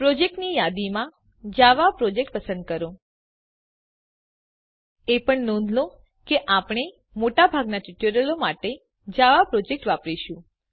પ્રોજેક્ટની યાદીમાં Java project પસંદ કરો એ પણ નોંધ લો કે આપણે મોટાભાગનાં ટ્યુટોરીયલો માટે જાવા પ્રોજેક્ટ વાપરીશું